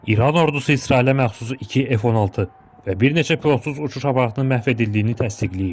İran ordusu İsrailə məxsus 2 F-16 və bir neçə pilotsuz uçuş aparatının məhv edildiyini təsdiqləyib.